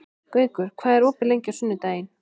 Gaukur, hvað er opið lengi á sunnudaginn?